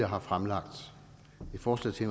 har fremlagt et forslag til